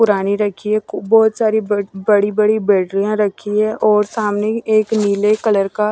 पुरानी रखी है बहुत सारी ब बड़ी बड़ी बेडरियां रखी है और सामने एक नीले कलर का --